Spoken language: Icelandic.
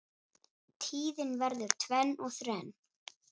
Tíðin verður tvenn og þrenn.